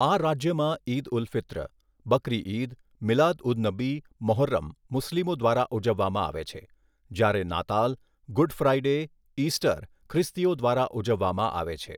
આ રાજ્યમાં ઈદ ઉલ ફિત્ર, બકરી ઈદ, મિલાદ ઉન નબી, મોહર્રમ મુસ્લિમો દ્વારા ઉજવવામાં આવે છે જ્યારે નાતાલ, ગુડ ફ્રાઇડે, ઇસ્ટર ખ્રિસ્તીઓ દ્વારા ઉજવવામાં આવે છે.